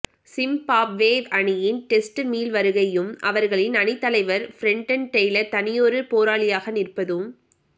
Zimbabwe அணியின் test மீள்வருகையும் அவர்களின் அணித் தலைவர் பிரெண்டன் டெய்லர் தனியொரு போராளியாக நிற்பதும்